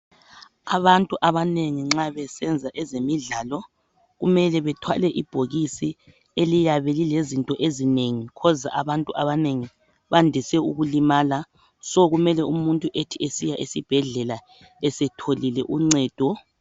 Abantu abanengi nxa besenza ezemidlalo kumele bethwale ibhokisi eliyabe lilezinto ezinengi ukwenzela abantu abanengi bandise ukulimala umuntu ethi esesiya esibhedlela esetholile uncedo